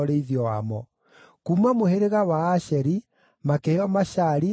Kuuma mũhĩrĩga wa Asheri makĩheo Mashali, na Abidoni,